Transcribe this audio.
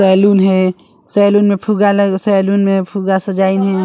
Saloon हे saloon में फुगा लग सैलून में फूगा सजाइन हय।